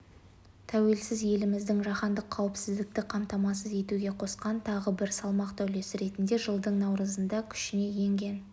тәуелсіз еліміздің жаһандық қауіпсіздікті қамтамасыз етуге қосқан тағы бір салмақты үлесі ретінде жылдың наурызында күшіне енген